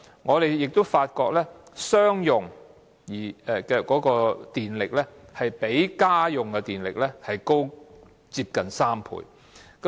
我們也發覺，商用耗電量比家用耗電量高接近3倍。